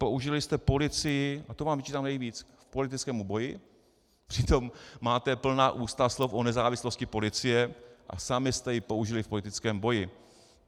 Použili jste policii - a to vám vyčítám nejvíc - k politickému boji, přitom máte plná ústa slov o nezávislosti policie a sami jste ji použili v politickém boji.